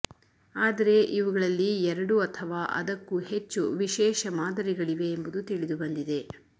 ಆದರೆ ಇವುಗಳಲ್ಲಿ ಎರಡು ಅಥವಾ ಅದಕ್ಕೂ ಹೆಚ್ಚು ವಿಶೇಷ ಮಾದರಿಗಳಿವೆ ಎಂಬುದು ತಿಳಿದುಬಂದಿದೆ